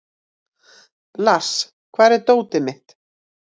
Lars, hvar er dótið mitt?